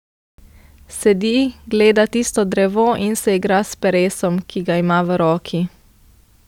Sedi, gleda tisto drevo in se igra s peresom, ki ga ima v roki.